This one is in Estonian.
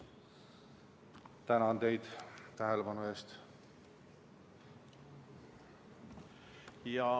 Tänan teid tähelepanu eest!